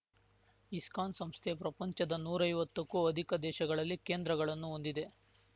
ISKCON ಸಂಸ್ಥೆ ಪ್ರಪಂಚದ ನೂರೈವತ್ತಕ್ಕೂ ಅಧಿಕ ದೇಶಗಳಲ್ಲಿ ಕೇಂದ್ರಗಳನ್ನುಹೊಂದಿದೆ